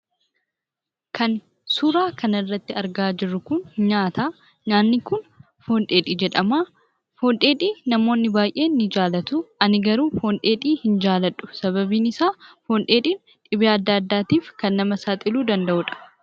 Kan suuraa kana irratti argaa jirru kun nyaata. Nyaanni kun foon dheedhii jedhama. Foon dheedhii namoonni baay'een nijaalatu. Ani garuu foon dheedhii hin jaaladhu ;sababni isaa foon dheedhiin dhibee adda addaaf kan nama saaxilu danda'udha.